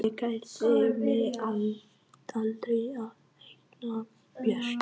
Ég kærði mig aldrei um að eignast börn.